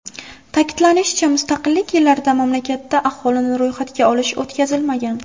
Ta’kidlanishicha, mustaqillik yillarida mamlakatda aholini ro‘yxatga olish o‘tkazilmagan.